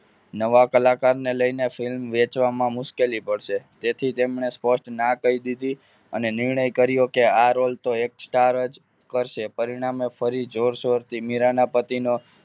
નવા કલાકારને લઈને film વેચવામાં મુશ્કેલી પડશે જેથી તેમને સ્પષ્ટ ના કહી દીધી અને નિર્ણય કર્યો કે આ roll તો star જ કરશે પરિણામ